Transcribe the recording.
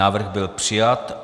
Návrh byl přijat.